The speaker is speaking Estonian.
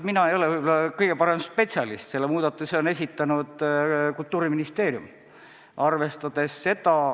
Mina ei ole võib-olla kõige parem spetsialist, selle muudatuse on esitanud Kultuuriministeerium.